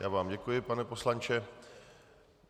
Já vám děkuji, pane poslanče.